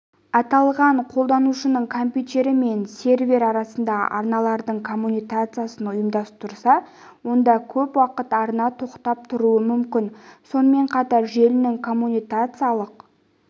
аталған қолданушының компьютері мен сервер арасында арналардың коммутациясын ұйымдастырса онда көп уақыт арна тоқтап тұруы мүмкін сонымен қатар желінің коммутациялық